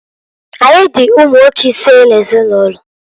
Anyị dị ụmụnwoke isee n'ezinụlọ.